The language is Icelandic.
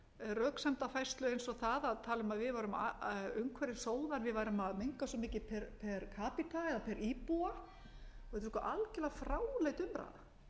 röksemdafærslu eins og þeirrar að tala um að við værum umhverfissóðar við værum að menga svo mikið per eða per íbúa og þetta